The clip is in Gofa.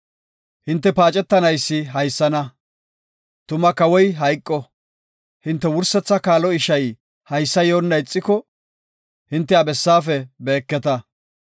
Hinte paacetanaysi haysana; tuma Kawoy hayqo, hinte wursetha kaalo ishay haysa yoona ixiko, hinte ha bessaafe beeketa.